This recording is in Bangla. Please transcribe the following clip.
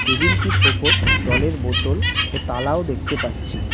টেবিল টির ওপর জলের বোতল ও তালাও দেখতে পাচ্ছি।